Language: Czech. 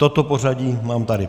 Toto pořadí mám tady.